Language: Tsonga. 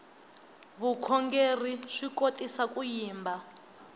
vukhongerhi swi kotisa ku yimba